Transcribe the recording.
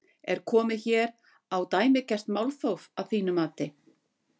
Er komið hér á dæmigert málþóf að þínu mati?